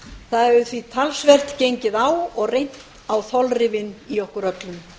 það hefur því talsvert gengið á og reynt á þolrifin í okkur öllum